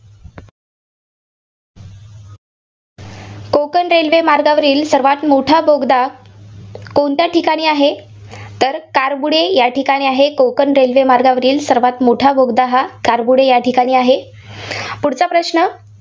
Konkan railway मार्गावरील सर्वांत मोठा बोगदा कोणत्या ठिकाणी आहे? तर करबुडे या ठिकाणी आहे, कोकण रेल्वे मार्गावरील सर्वांत मोठा बोगदा करबुडे या ठिकाणी आहे. पुढचा प्रश्न